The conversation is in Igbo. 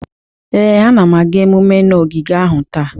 Ee, anam aga emume na ogige ahụ taa.